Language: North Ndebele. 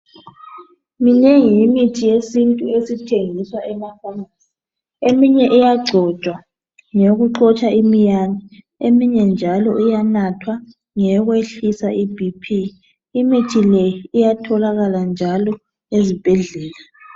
Leyi yimithi yesintu esithengiswa emafamasi. Eyinye iyagcotshwa ngeyokuxotsha imiyane, eminye njalo iyanathwa, ngeyokwehlisa iBP. Imithi le iyatholakala njalo ezibhedlela.